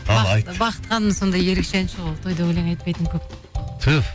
ал айт бақыт ханым сондай ерекше әнші ол тойда өлең айтпайтын көп түһ